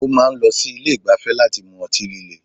Ó máa n lọ sí Ilé ìgbafẹ́ láti mu ọtí líle